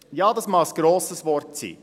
Es mag ein grosses Wort sein.